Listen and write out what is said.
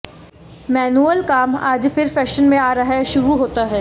manual काम आज फिर फैशन में आ रहा है शुरू होता है